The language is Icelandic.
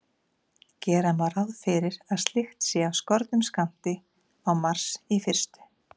Gera má ráð fyrir að slíkt sé af skornum skammti á Mars í fyrstu.